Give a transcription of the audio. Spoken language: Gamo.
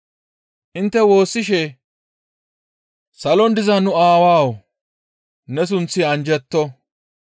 Intte woossishe, « ‹Salon diza nu Aawawu! Ne sunththi anjjetto.